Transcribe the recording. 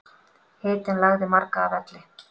Hitinn lagði marga að velli